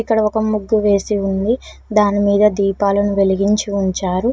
ఇక్కడ ఒక ముగ్గు వేసి ఉంది దాని మీద దీపాలను వెలిగించి ఉంచారు.